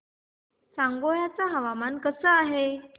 सांगोळा चं हवामान कसं आहे